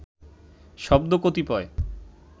শব্দ কতিপয়